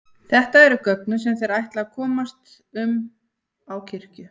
Þetta eru göngin sem þeir ætla að komast um á kirkju.